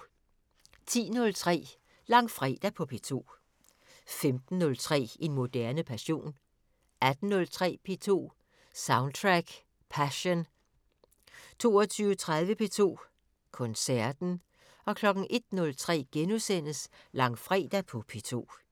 10:03: Langfredag på P2 15:03: En moderne passion 18:03: P2 Soundtrack Passion 22:30: P2 Koncerten 01:03: Langfredag på P2 *